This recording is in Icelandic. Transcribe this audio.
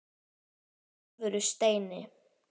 Í alvöru, Steini.